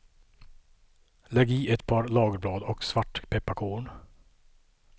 Lägg i ett par lagerblad och svartpepparkorn.